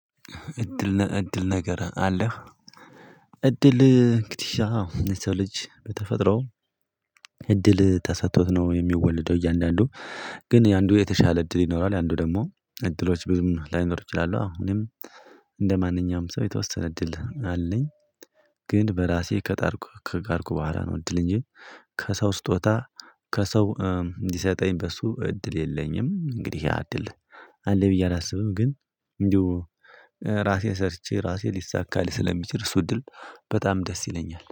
እድል እድል ነገር አለህ? እድል እንግዲህ ሰው ልጅ በተፈጥሮ እድል ተሰጥቶት ነው የሚወለደው እያንዳንዱ ግን የአንዱ የተሻለ እድል ይኖራል። የአንዱ ደግሞ እድሎች ብዙም ላይኖር ይችላሉ። እኔም እንደማንኛውም ሰው የተወሰነ እድል አለኝ። ግን በራሴ ከጣርኩ ከጣርኩ በኃላ ነው እድል እንጂ። ከሰው ስጦታ ከሰው እንዲሰጠኝ በሱ እድል የለኝም። እንግዲህ ያእድል አለ ብዬ አላስብም። ግን እንዲሁ ራሴ ሰርቼ ራሴ ሊሳካ ስለሚችል እሱ እድል በጣም ደስ ይለኛል